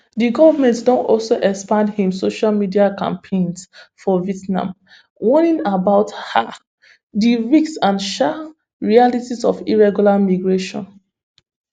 di goment don also expand im social media campaigns for vietnam warning about um di risks and um realities of irregular migration